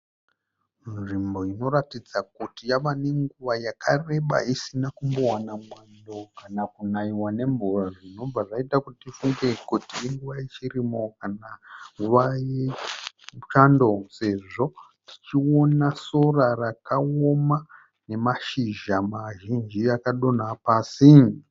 Nzvimbo inoratidza kuti yava nenguva yakareba isina kumbowana mwando kana kunaiwa nemvura zvinobva zvaita kuti tifunge kuti inguva yechirimo kana nguva yechando sezvo tichiona sora rakaoma nemashizha mazhinji akadonha pasi.